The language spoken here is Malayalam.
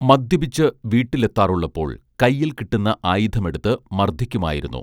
മദ്യപിച്ച് വീട്ടിലെത്താറുള്ളപ്പോൾ കൈയിൽ കിട്ടുന്ന ആയുധമെടുത്ത് മർദ്ദിക്കുമായിരുന്നു